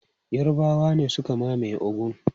Yarbawa ne suka mamaye Ogun.